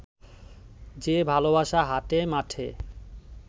যে ভালোবাসা হাটে মাঠে